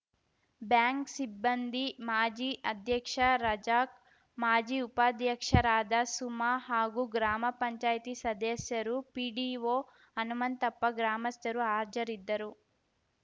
bank ಸಿಬ್ಬಂದಿ ಮಾಜಿ ಅಧ್ಯಕ್ಷ ರಜಾಕ್‌ ಮಾಜಿ ಉಪಾಧ್ಯಕ್ಷರಾದ ಸುಮಾ ಹಾಗೂ ಗ್ರಾಮ ಪಂಚಾಯಿತಿ ಸದಸ್ಯರು ಪಿಡಿಒ ಹನುಮಂತಪ್ಪ ಗ್ರಾಮಸ್ಥರು ಹಾಜರಿದ್ದರು